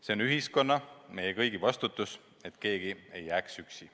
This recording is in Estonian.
See on ühiskonna, meie kõigi vastutus, et keegi ei jääks üksi.